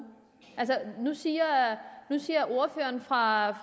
nu siger ordføreren fra